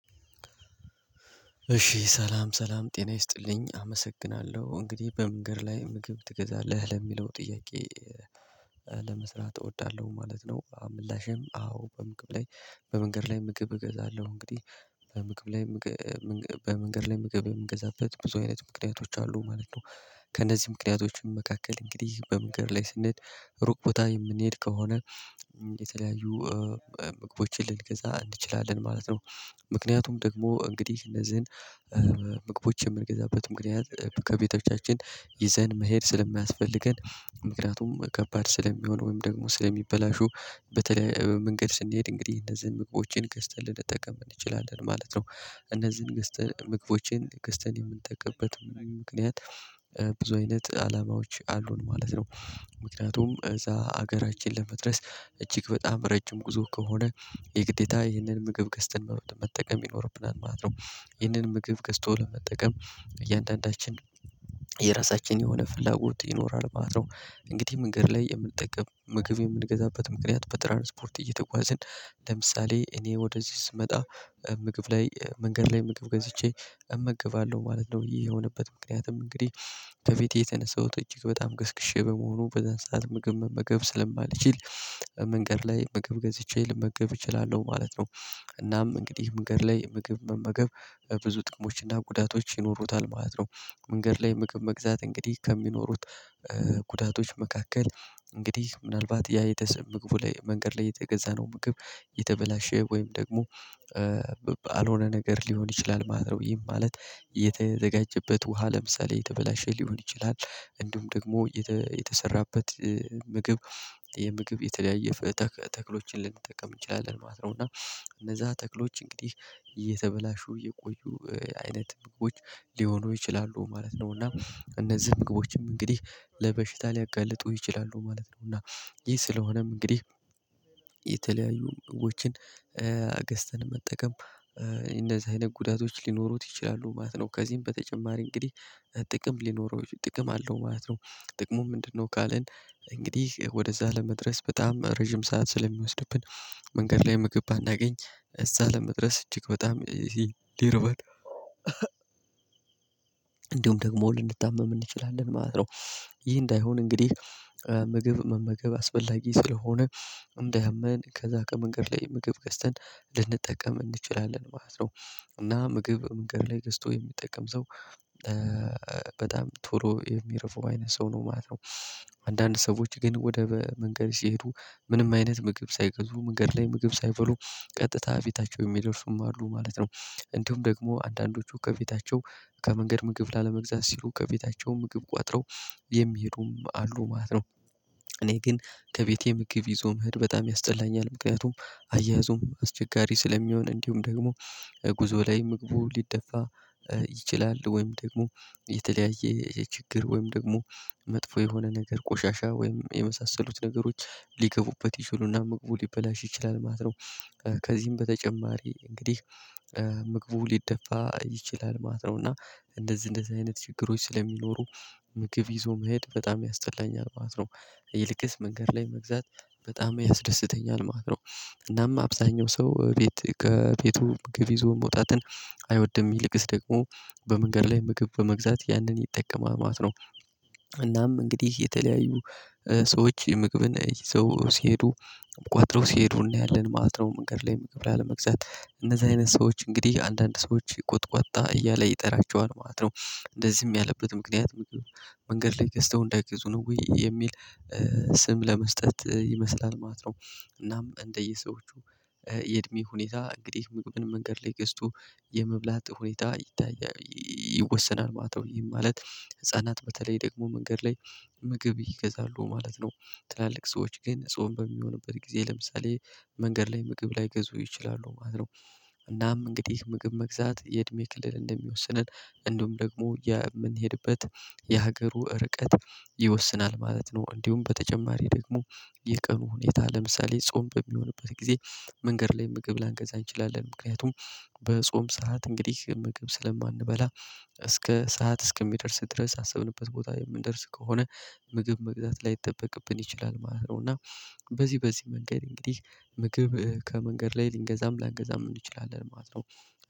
እሺ ሰላም ሰላም ጤና ይስጥልኝ አመሰግናለሁ እንግዲህ በመንገድ ላይ ምግብ ትገዛለህ ለሚለው ጥያቄ ለመስራት እወዳለሁ ማለት ነው። ምላሼም አዎ በመንገድ ላይ በመንገድ ላይ ምግብ እገዛለሁ እንግዲህ በምግብ ላይ ምግብ በመንገድ ላይ ምግብ የምገዛበት ብዙ አይነት ምክንያቶች አሉ ማለት ነው። ከእነዚህ ምክንያቶችም መካከል እንግዲህ በመንገድ ላይ ስንሄድ ሩቅ ቦታ የምንሄድ ከሆነ የተለያዩ ምግቦችን ልንገዛ እንችላለን ማለት ነው። ምክንያቱም ደግሞ እንግዲህ እነዚህን ምግቦች የምንገዛበትም ምክንያት ከቤተቻችን ይዘን መሄድ ስለማያስፈልገን ምክንያቱም ከባድ ስለሚሆን ወይም ደግሞ ስለሚበላሹ በተለይ መንገድ ስንሄድ እንግዲህ እነዚህን ምግቦችን ገዝተን ልንጠቀም እንችላለን ማለት ነው። እነዚህን ገዝተን ምግቦችን ገዝተን የምንጠቀምበት ምክንያት ብዙ አይነት አላማዎች አሉን ማለት ነው። ምክንያቱም እዛ ሀገራችን ለመድረስ እጅግ በጣም ረጅም ጉዞ ከሆነ የግዴታ ይህንን ምግብ ገዝትን መጠቀም ይኖርብናል ማለት ነው። ይህንን ምግብ ገዝቶ ለመጠቀም እያንዳንዳችን የራሳችን የሆነ ፍላጎት ይኖራል ማለት ነው። እንግዲህ መንገድ ላይ የምንጠቀም ምግብ የምንገዛበት ምክንያት በትራንስፖርት እየተጓዝን ለምሳሌ እኔ ወደዚህ ስመጣ ምግብ ላይ መንገድ ላይ ምግብ ገዝቼ እመግባለሁ ማለት ነው። ይሄ የሆነበት ምክንያትም እንግዲህ በፊቴ የተነሳሁት እጅግ በጣም ገስግሼ በመሆኑ በዛን ሰዓት ምግብ መገብ ስለማልችል መንገድ ላይ ምግብ ገዝቼ ልመገብ እችላለሁ ማለት ነው። እናም እንግዲህ መንገድ ላይ ምግብ መመገብ ብዙ ጥቅሞችና ጉዳቶች ይኖሩታል ማለት ነው። መንገድ ላይ ምግብ መግዛት እንግዲህ ከሚኖሩት ጉዳቶች መካከል እንግዲህ ምናልባት ያ የተሰማ መንገድ ላይ የተገዛ ነው ምግብ የተበላሸ ወይም ደግሞ ያልሆነ ነገር ሊሆን ይችላል ማለት ነው። ይሄን ማለት የተዘጋጀበት ውሃ ለምሳሌ የተበላሸ ሊሆን ይችላል። እንዲሁም ደግሞ የተሰራበት ምግብ የምግብ የተለያየ ተክሎችን ልንጠቀም እንችላለን ማለት ነው። እና እነዛ ተክሎች እንግዲህ እየተበላሹ እየቆዩ አይነት ምግቦች ሊሆኑ ይችላሉ ማለት ነው። እና እነዚህ ምግቦችም እንግዲህ ለበሽታ ሊያጋልጡ ይችላሉ ማለት ነው። እና ይህ ስለሆነም እንግዲህ የተለያዩ ምግቦች ገዝተን መጠቀም እንደዚህ አይነት ጉዳቶች ሊኖሩት ይችላሉ ማለት ነው። ከዚህም በተጨማሪ እንግዲህ ጥቅም ሊኖረው ጥቅም አለው ማለት ነው ጥቅሙ ምንድነው? ካልን እንግዲህ ወደዛ ለመድረስ በጣም ረጅም ሰዓት ስለሚወስድብን መንገድ ላይ ምግብ ባናገኝ እዛ ለመድረስ እጅግ በጣም ሊረበን እንዲሁም ደግሞ ልንታመም እንችላለን ማለት ነው። ይህ እንዳይሆን እንግዲህ ምግብ መመገብ አስፈላጊ ስለሆነ እንደ አያመን ከዛ ከመንገድ ላይ ምግብ ገዝተን ልንጠቀም እንችላለን ማለት ነው። እና ምግብ መንገድ ላይ ገዝቶ የሚጠቀም ሰው በጣም ቶሎ የሚረበው አይነት ሰው ነው ማለት ነው። አንዳንድ ሰዎች ግን ወደ መንገድ ሲሄዱ ምንም አይነት ምግብ ሳይገዙ መንገድ ላይ ምግብ ሳይበሉ ቀጥታ ቤታቸው የሚደርሱም አሉ ማለት ነው። እንዲሁም ደግሞ አንዳንዶቹ ከቤታቸው ከመንገድ ምግብ ላለመግዛት ሲሉ ከቤታቸው ምግብ ቆጥረው የሚሄዱም አሉ ማለት ነው። እኔ ግን ከቤቴ ምግብ ይዞ መሄድ በጣም ያስጠላኛል ምክንያቱም አያያዙም አስቸጋሪ ስለሚሆን እንዲሁም ደግሞ ጉዞ ላይ ምግቡ ሊደፋ ይችላል ወይም ደግሞ የተለያየ የችግር ወይም ደግሞ መጥፎ የሆነ ነገር ቆሻሻ ወይም የመሳሰሉት ነገሮች ሊገቡበት ይችሉና ምግቡ ሊበላሽ ይችላል ማለት ነው። ከዚህም በተጨማሪ እንግዲህ ምግቡ ሊደፋ ይችላል ማለት ነው እና እንደዚህ እንደዚህ አይነት ችግሮች ስለሚኖሩ ምግብ ይዞ መሄድ በጣም ያስጠላኛል ማለት ነው። ይልቅስ መንገድ ላይ መግዛት በጣም ያስደስተኛል ማለት ነው። እናም አብዛኛው ሰው ቤት ከቤቱ ምግብ ይዞ መውጣትን አይወድም ይልቅስ ደግሞ በመንገድ ላይ ምግብ በመግዛት ያንን ይጠቀማማት ነው። እናም እንግዲህ የተለያዩ ሰዎች ምግብን ይዞ ሲሄዱ ቆጥረው ሲሄዱ እናያለን ማለት ነው መንገድ ላይ ገብረው ለመግዛት እንደዚህ አይነት ሰዎች እንግዲህ አንዳንድ ሰዎች ይቆጥቋጣ እያለ ይጠራቸዋል ማለት ነው። እንደዚህም ያለበት ምክንያት መንገድ ላይ ገዝተው እንዳይገዙ ነው ወይ የሚል? ስም ለመስጠት ይመስላል ማለት ነው። እናም እንደየሰዎቹ የእድሜ ሁኔታ እንግዲህ ምግብን መንገድ ላይ ገዝቶ የመብላት ሁኔታ ይታያል ይወሰናል ማለት ነው። ይህ ማለት ህፃናት በተለይ ደግሞ መንገድ ላይ ምግብ ይገዛሉ ማለት ነው። ትላልቅ ሰዎች ግን ጾም በሚሆንበት ጊዜ ለምሳሌ መንገድ ላይ ምግብ ላይገዙ ይችላሉ ማለት ነው። እናም እንግዲህ ምግብ መግዛት የእድሜ ክልል እንደሚወስነን እንዲሁም ደግሞ የምንሄድበት የሀገሩ ርቀት ይወስናል ማለት ነው። እንዲሁም በተጨማሪ ደግሞ የቀኑ ሁኔታ ለምሳሌ ጾም በሚሆንበት ጊዜ መንገድ ላይ ምግብ ላንገዛ እንችላለን ምክንያቱም በጾም ሰዓት እንግዲህ ምግብ ስለማንበላ እስከ ሰዓት እስከሚደርስ ድረስ አሰብንበት ቦታ የምንደርስ ከሆነ ምግብ መግዛት ላይጠበቅብን ይችላል ማለት ነው። እና በዚህ በዚህ መንገድ እንግዲህ ምግብ ከመንገድ ላይ ልንገዛም ላንገዛም እንችላለን ማለት ነው።